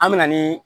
An me na nii